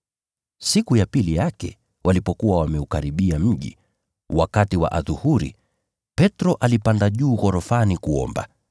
Siku ya pili yake, walipokuwa wameukaribia mji, wakati wa adhuhuri, Petro alipanda juu ya nyumba kuomba.